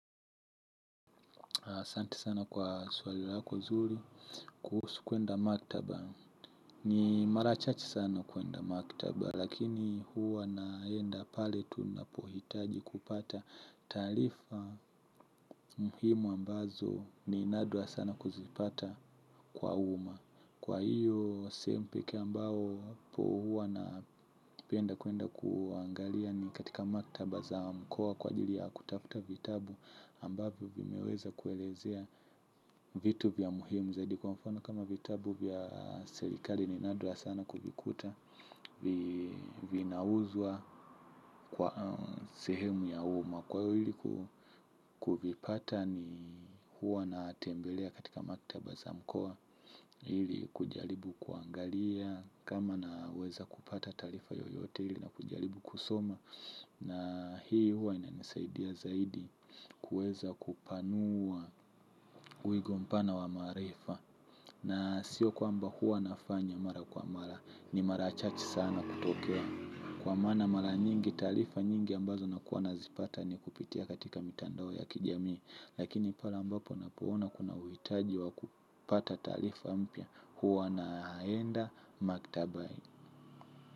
Asante sana kwa swali lako zuri kuhusu kuenda maktaba. Ni marachache sana kuenda maktaba. Lakini huwa naenda pale tunapohitaji kupata taarifa muhimu ambazo ni nadra sana kuzipata kwa umma. Kwa hiyo sehemu ambapo huwa napenda kwenda kuangalia ni katika maktaba za mkoa kwa ajili ya kutafuta vitabu ambavyo vimeweza kuelezea vitu vya muhimu zaidi, kwa mfano kama vitabu vya serikali ni nadra sana kuvikuta vinauzwa kwa sehemu ya umma kwa hili kuvipata ni huwa na tembelea katika maktaba za mkoa. Ili kujaribu kuangalia kama naweza kupata taarifa yoyote, ili nijaribu kusoma, na hii huwa inanisaidia zaidi. Kuweza kupanua uigompana wa maarifa. Na sio kwamba huwa nafanya mara kwa mara. Ni mara chache sana kutokea, kwa maana mara nyingi taarifa nyingi ambazo nakuwa nazipata ni kupitia katika mitandao ya kijamii. Lakini pale ambapo napoona kunauhitaji wa kupata talifa mpya, huwa naenda maktabani.